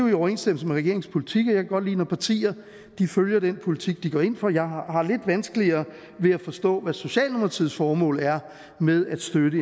i overensstemmelse med regeringens politik og jeg kan godt lide at partier følger den politik de går ind for jeg har har lidt vanskeligere ved at forstå hvad socialdemokratiets formål er med at støtte